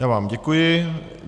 Já vám děkuji.